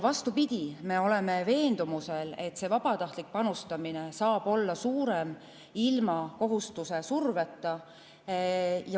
Vastupidi, me oleme veendumusel, et vabatahtlik panustamine saab olla ilma kohustuse surveta suurem.